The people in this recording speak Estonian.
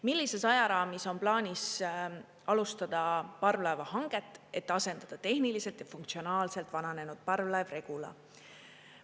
Millises ajaraamis on plaanis alustada parvlaevahanget, et asendada tehniliselt ja funktsionaalselt vananenud parvlaev Regula?